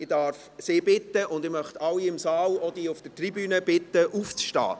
Ich darf Sie und alle im Saal bitten aufzustehen, auch diejenigen auf der Tribüne.